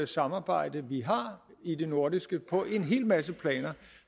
samarbejde vi har i det nordiske på en hel masse planer